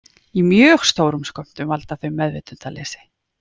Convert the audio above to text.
Í mjög stórum skömmtum valda þau meðvitundarleysi.